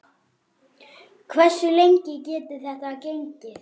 Hversu lengi getur þetta gengið?